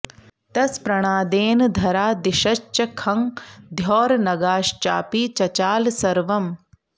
तस् प्रणादेन धरा दिशश्च खं द्यौर्नगाश्चापि चचाल सर्वम्